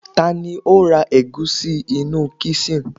tani o ra egusi inú kisin